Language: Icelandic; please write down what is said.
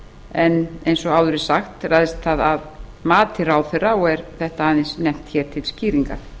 en eins og áður er sagt ræðst það af mati ráðherra og er þetta aðeins nefnt hér til skýringar